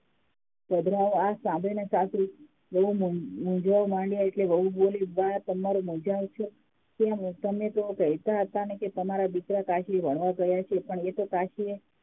આ સાંભળીને સાસુ મૂંઝવણમાં માંડ્યા એટલે વહુ બોલી બા તમાર મુંઝાવસો કેમ તમે તો કહેતા હતા કે તમારા દીકરા કાશી એ ભણવા ગયા છે પણ એ તો કાશીએ